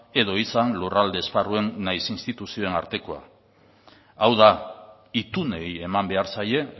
edo izan lurralde esparruen nahiz instituzioen artekoa hau da itunei eman behar zaie